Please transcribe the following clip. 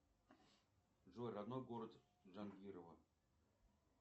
джой родной город джангирова